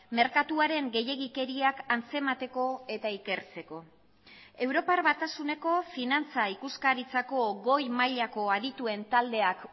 merkatuaren gehiegikeriak antzemateko eta ikertzeko europar batasuneko finantza ikuskaritzako goi mailako adituen taldeak